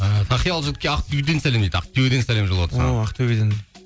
і тақиялы жігітке ақтөбеден сәлем дейді ақтөбеден сәлем жолдап жатыр саған о ақтөбеден